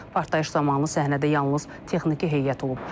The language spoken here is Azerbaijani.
Partlayış zamanı səhnədə yalnız texniki heyət olub.